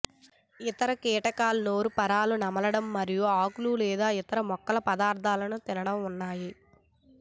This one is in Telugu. ఇతర కీటకాలు నోరుపారలు నమలడం మరియు ఆకులు లేదా ఇతర మొక్కల పదార్థాలను తినడం ఉన్నాయి